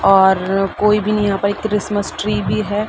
और कोई भी यहाँ पे एक क्रिसमस ट्री भी है।